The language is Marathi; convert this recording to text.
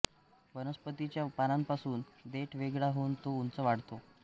वनस्पतीच्या पानांपासून देठ वेगळा होऊन तो उंच वाढतो